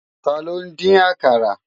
Tàló n din ákàrá?